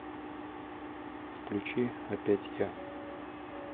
включи опять я